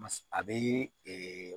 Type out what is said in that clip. Mas a bɛ